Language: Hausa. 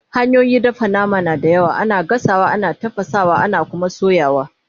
hanyoyin dafa nama na da yawa, ana gasawa, ana tafasawa, ana Kuma soyawa